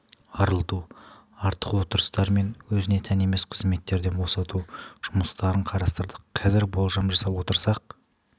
арылту артық отырыстар мен өзіне тән емес қызметтерден босату жұмыстарын қарастырдық қазір болжам жасап отырсақ